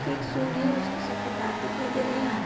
कि एक सुंड हैं उसके सफ़ेद दांत दिखाई दे रहे है हां --